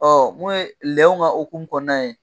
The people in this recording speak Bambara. Ɔ mun ye lɛw ka hukumu kɔnɔna ye